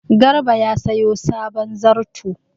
Garba ya sayo sabon zarto.